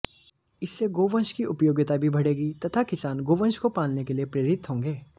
इससे गौवंश की उपयोगिता भी बढ़ेगी तथा किसान गौवंश को पालने के लिए प्रेरित होंगे